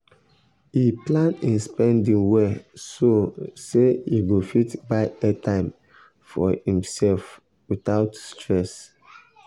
he plan him spending well so say he go fit buy airtime for himself um without stress. um